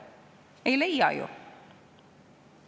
Ei leia ju!